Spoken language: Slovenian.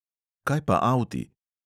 Kaj pa avti?